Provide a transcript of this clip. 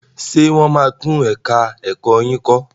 Ṣé wọ́n máa tún ẹ̀ka ẹ̀kọ́ yín kọ́?